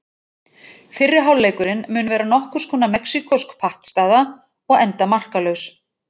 Fyrri hálfleikurinn mun vera nokkurs konar mexíkósk pattstaða og enda markalaus.